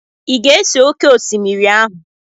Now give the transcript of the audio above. Ị ga-ese oké osimiri ahụ?